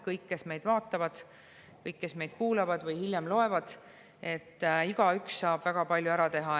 Kõik, kes meid vaatavad, ja kõik, kes meid kuulavad või hiljem loevad – igaüks saab väga palju ära teha.